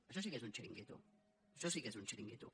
això sí que és un xiringuito això sí que és un xiringuito